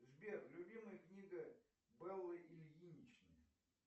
сбер любимая книга беллы ильиничны